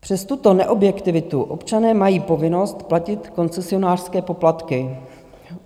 Přes tuto neobjektivitu občané mají povinnost platit koncesionářské poplatky.